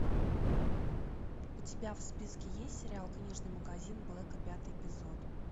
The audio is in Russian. у тебя в списке есть сериал книжный магазин блэка пятый эпизод